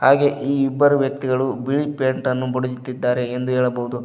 ಹಾಗೆ ಈ ಇಬ್ಬರು ವ್ಯಕ್ತಿಗಳು ಬಿಳಿ ಪೇಂಟ್ ಅನ್ನು ಬಡಿಯುತ್ತಿದ್ದಾರೆ ಎಂದು ಹೇಳಬಹುದು.